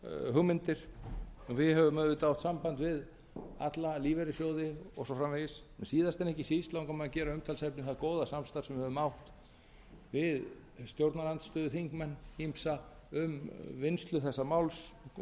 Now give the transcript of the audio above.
hugmyndir við höfum auðvitað haft samband við alla lífeyrissjóði og svo framvegis en síðast en ekki síst langar mig að gera að umtalsefni það góða samstarf sem við höfum átt við stjórnarandstöðuþingmenn ýmsa um vinnslu þessa máls og